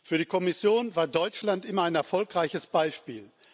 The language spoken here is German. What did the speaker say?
Für die Kommission war Deutschland immer ein erfolgreiches Beispiel.